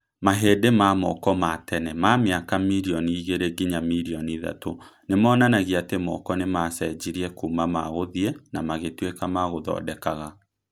Marĩndĩ ma moko ma tene ma mĩaka mirioni igĩrĩ nginya mirioni ithatũ nĩ monanagia atĩ moko nĩ maacenjirie kuuma magũthii na magĩtuĩka magũthondekaga.